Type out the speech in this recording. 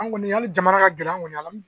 An kɔni hali jamana ka gɛlɛn an kɔni an